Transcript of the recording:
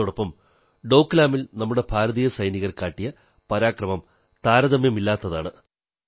അതോടൊപ്പം ഡോക്ലാമിൽ നമ്മുടെ ഭാരതീയ സൈനികർ കാട്ടിയ പരാക്രമം താരതമ്യമില്ലാത്തതാണ്